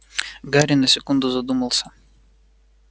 гарри на секунду задумался